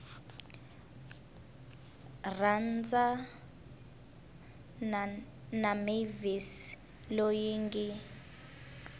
rhandzana na mavis loyi ngi